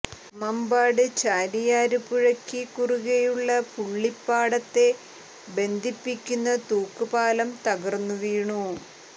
മമ്പാട് ചാലിയാര് പുഴക്ക് കുറുകെയുള്ള പുള്ളിപ്പാടത്തെ ബന്ധിപ്പിക്കുന്ന തൂക്കൂപാലം തകര്ന്നു വീണു